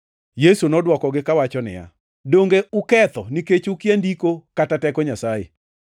Yesu nodwokogi kawacho niya, “Donge uketho nikech ukia Ndiko kata teko Nyasaye?